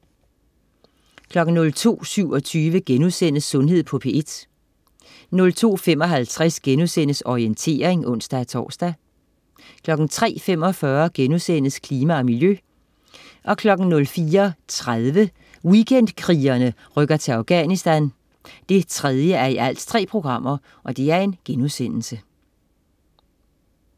02.27 Sundhed på P1* 02.55 Orientering* (ons-tors) 03.45 Klima og miljø* 04.30 Weekendkrigerne rykker til Afganisthan 3:3*